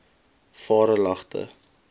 varelagte